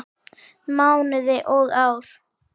Mánuði og ár.